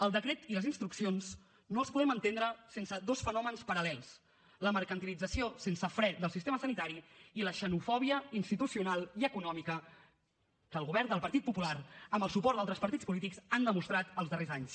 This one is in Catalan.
el decret i les instruccions no els podem entendre sense dos fenòmens paral·lels la mercantilització sense fre del sistema sanitari i la xeno fòbia institucional i econòmica que el govern del partit popular amb el suport d’altres partits polítics ha demostrat els darrers anys